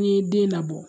N'i ye den labɔ